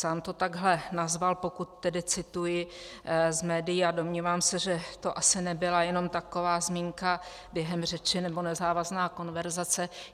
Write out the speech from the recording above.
Sám to takhle nazval, pokud tedy cituji z médií, a domnívám se, že to asi nebyla jenom taková zmínka během řeči nebo nezávazná konverzace.